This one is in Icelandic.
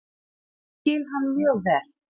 Ég skil hann mjög vel.